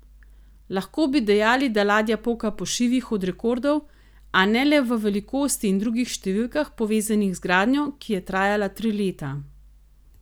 Lahko bi dejali, da ladja poka po šivih od rekordov, a ne le v velikosti in drugih številkah, povezanih z gradnjo, ki je trajala tri leta.